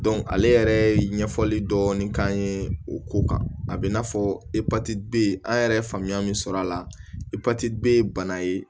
ale yɛrɛ ye ɲɛfɔli dɔɔnin k'an ye o ko kan a bɛ i n'a fɔ an yɛrɛ ye faamuya min sɔrɔ a la bana ye